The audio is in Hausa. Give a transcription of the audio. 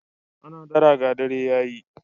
Ana dara ga dare ya yi.